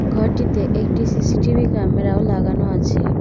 ঘরটিতে একটি CCTV camera -ও লাগানো আছে।